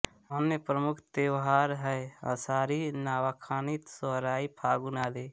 अन्य प्रमुख त्योहार हैं असारी नवाखानी सोहराई फागुन आदि